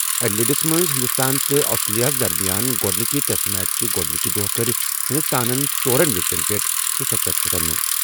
ایڈیلیڈس منٛز ہندوستان تہٕ آسٹریلیا ہَس درمیان گۄڈٕنِکہِ ٹیسٹ میچ کہِ گۄڈٕنِکہِ دۄہ کٔرۍ ہندوستانن ژورَن وِکٹن پیٚٹھ شُسَتتھ رنہٕ۔